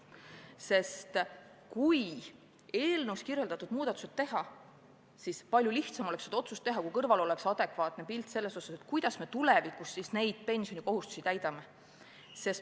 Mis puutub seaduses toodud muudatustesse, siis palju lihtsam oleks seda otsust teha, kui kõrval oleks adekvaatne pilt, kuidas riik siis tulevikus pensioniga seotud kohustusi täidab.